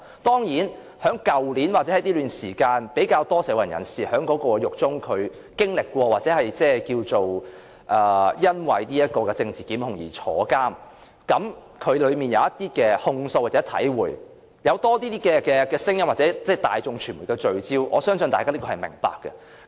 當然，在去年或這段時間，比較多社運人士因為政治檢控而坐牢，因而在獄中有親身經歷，他們在獄中有些控訴和體會，從而在社會有更多聲音或令大眾傳媒聚焦，我相信大家是會明白這個現象。